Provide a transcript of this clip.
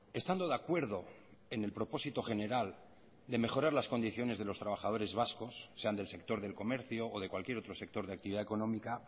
estando de acuerdo en el propósito general de mejorar las condiciones de los trabajadores vascos sean del sector del comercio o de cualquier otro sector de actividad económica